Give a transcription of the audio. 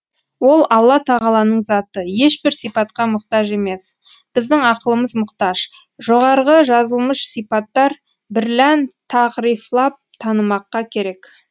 ол алла тағаланың заты ешбір сипатқа мұқтаж емес біздің ақылымыз мұқтаж жоғарғы жазылмыш сипаттар бірлән тағрифлап танымаққа керек